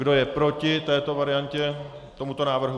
Kdo je proti této variantě, tomuto návrhu?